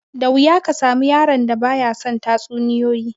Da wuya ka samu yaron da ba ya son tatsuniyoyi